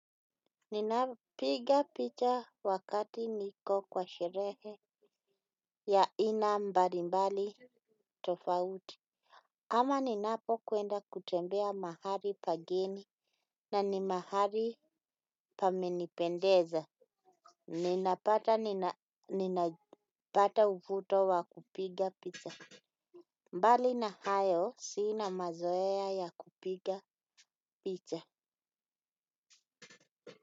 Ninapiga picha wakati niko kwa sherehe. Ya ina mbali mbali tofauti. Ama ninapo kwenda kutembea mahali pageni na ni mahali pamenipendeza. Ninapata uvuto wa kupiga picha. Mbali na hayo sina mazoea ya kupiga picha.